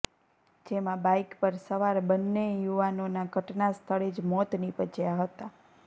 જેમાં બાઈક પર સવાર બંને યુવાનોના ઘટના સ્થળે જ મોત નિપજ્યાં હતા